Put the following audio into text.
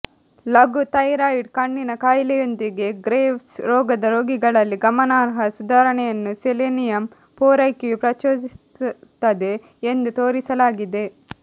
ಲಘು ಥೈರಾಯಿಡ್ ಕಣ್ಣಿನ ಕಾಯಿಲೆಯೊಂದಿಗೆ ಗ್ರೇವ್ಸ್ ರೋಗದ ರೋಗಿಗಳಲ್ಲಿ ಗಮನಾರ್ಹ ಸುಧಾರಣೆಯನ್ನು ಸೆಲೆನಿಯಮ್ ಪೂರೈಕೆಯು ಪ್ರಚೋದಿಸುತ್ತದೆ ಎಂದು ತೋರಿಸಲಾಗಿದೆ